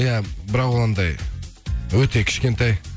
иә бірақ ол андай өте кішкентай